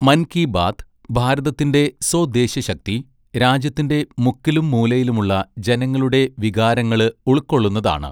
മന് കീ ബാത്ത് ഭാരതത്തിന്റെ സോദ്ദേശ്യശക്തി, രാജ്യത്തിന്റെ മുക്കിലും മൂലയിലുമുള്ള ജനങ്ങളുടെ വികാരങ്ങള് ഉൾകൊള്ളുന്നതാണ്.